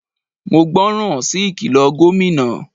Mo gbọ́ ràn sí ìkìlọ̀ Gómìnà.